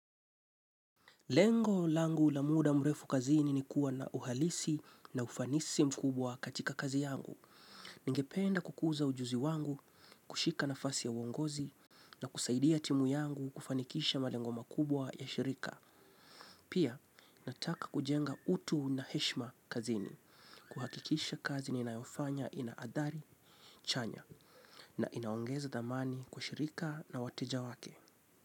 Lengo langu la muda mrefu kazini ni kuwa na uhalisi na ufanisi mkubwa katika kazi yangu. Ningependa kukuza ujuzi wangu, kushika nafasi ya uongozi, na kusaidia timu yangu kufanikisha malengo makubwa ya shirika. Pia, nataka kujenga utu na heshima kazini. Kuhakikisha kazi ni na yofanya inaadhari, chanya, na inaongeza dhamani kushirika na wateja wake.